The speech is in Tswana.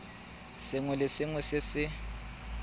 sengwe le sengwe se se